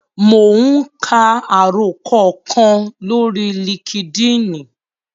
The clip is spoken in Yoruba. Mò ún ka àròkọ kan lórí líkídíìnì